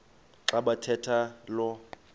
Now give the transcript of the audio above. xa bathetha lo